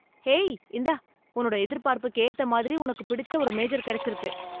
hey, இந்தா உன்னோட எதிர்பார்ப்புக்கு ஏத்த மாதிரி உனக்குப் பிடிச்ச ஒரு மேஜர் கெடச்சிருக்கு